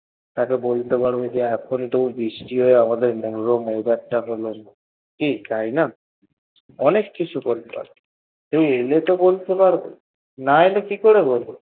তাইতো এখন বলতে পারবে এত বৃষ্টি হয় এখন কেমন weather তা হলো কি তাইনা অনেক কিছু বলতে পারবো তুমি এলে তো বলতে পারবো, না এলে কি করে বলব